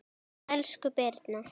Elsku Birna